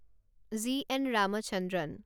G N Ramachandran